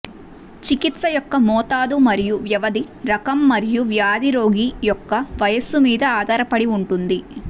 చికిత్స యొక్క మోతాదు మరియు వ్యవధి రకం మరియు వ్యాధి రోగి యొక్క వయస్సు మీద ఆధారపడి ఉంటుంది